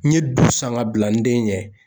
N ɲe du san ka bila n den ɲɛ.